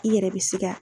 I yɛrɛ be sika